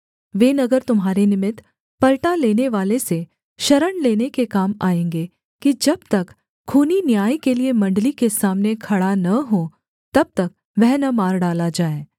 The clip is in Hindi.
वे नगर तुम्हारे निमित्त पलटा लेनेवाले से शरण लेने के काम आएँगे कि जब तक खूनी न्याय के लिये मण्डली के सामने खड़ा न हो तब तक वह न मार डाला जाए